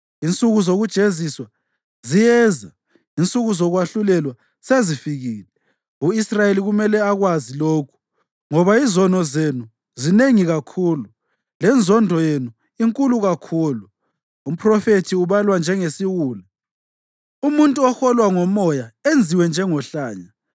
Insuku zokujeziswa ziyeza, insuku zokwahlulelwa sezifikile. U-Israyeli kumele akwazi lokhu. Ngoba izono zenu zinengi kakhulu lenzondo yenu inkulu kakhulu, umphrofethi ubalwa njengesiwula umuntu oholwa ngomoya enziwe njengohlanya.